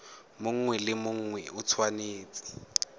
mongwe le mongwe o tshwanetse